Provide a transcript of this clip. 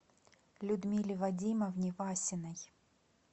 людмиле вадимовне васиной